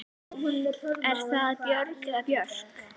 Er það Björg eða Björk?